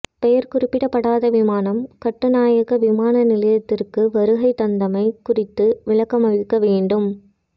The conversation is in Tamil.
பெயர் குறிப்பிடப்படாத விமானம் கட்டுநாயக்க விமான நிலையத்திற்கு வருகை தந்தமை குறித்து விளக்கமளிக்க வேண்டும்